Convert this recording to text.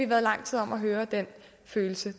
været lang tid om at høre den følelse